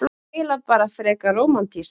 Og eiginlega bara frekar rómantískt.